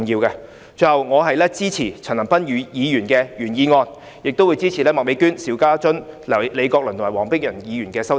最後，我支持陳恒鑌議員的原議案，亦會支持麥美娟議員、邵家臻議員、李國麟議員和黃碧雲議員的修正案。